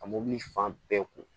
Ka mɔbili fan bɛɛ kun